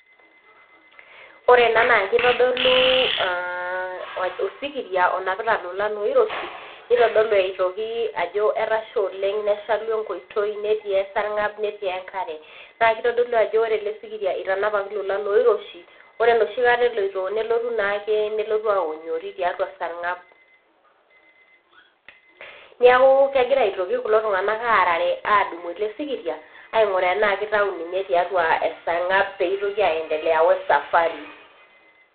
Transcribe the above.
Ore ena naa kitodolu aa osikiria , onapita ilolan oiroshi , nitodolu aitoki etasha oleng , neshalu enkoitoi ,netii esarngab , netii enkare . Naa kitodolu ajo ore ele sikiria itanapaki ilolan oiroshi , ore enoshi kata eloito, nelotu naake nelotu aonyori tiatua esarngab. Niaku kegira aitoki kulo tunganak aarare adumu ele sikiria ainguraa tenaa kitau tiatua esarngab peeitoki aendelea wesafari.